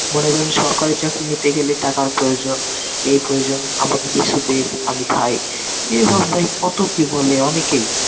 মনে করেন সরকারি চাকরি নিতে গেলে টাকার প্রয়োজন. এই প্রয়োজন আমাকে কিছু দে আমি খাই. এ ভাবে ভাই কত কি বলে অনেকেই